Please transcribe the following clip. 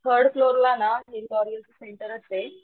third फ्लोअरला ना L'Oreal सेंटरचे